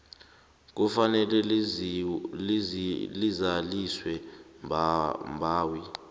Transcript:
kufanele lizaliswe mbawi